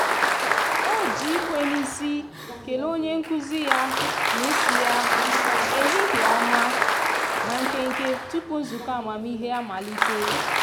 o ji ikwe n'isi kelee onye nkụzi ya na isi ya "ehihie ọma" na nkenke tupu nzukọ amamihe amalite.